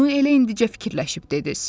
Onu elə indicə fikirləşib dediniz.